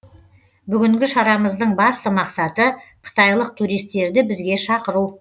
бүгінгі шарамыздың басты мақсаты қытайлық туристерді бізге шақыру